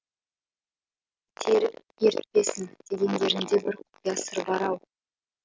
серік ертпесін дегендерінде бір құпия сыр бар ау